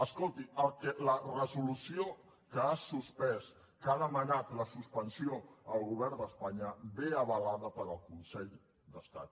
escolti la resolució que ha suspès que n’ha demanat la suspensió el govern d’espanya ve avalada pel consell d’estat